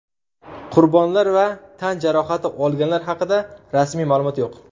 Qurbonlar va tan jarohati olganlar haqida rasmiy ma’lumot yo‘q.